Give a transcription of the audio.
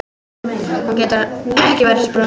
Hún getur ekki varist brosi.